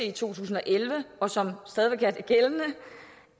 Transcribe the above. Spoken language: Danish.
i to tusind og elleve og som stadig væk